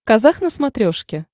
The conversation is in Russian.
казах на смотрешке